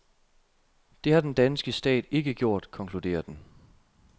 Det har den danske stat ikke gjort, konkluderer den.